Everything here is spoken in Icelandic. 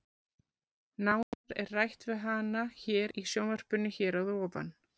Nánar er rætt við hana hér í sjónvarpinu hér að ofan.